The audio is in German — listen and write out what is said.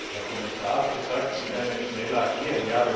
Der Herr Kommissar hat gesagt, sie können jetzt schneller agieren.